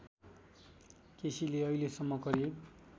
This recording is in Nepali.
केसीले अहिलेसम्म करिब